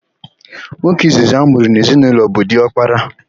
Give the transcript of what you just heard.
Nwoke izizi amụrụ n'ezinaụlọ bụ diọkpara.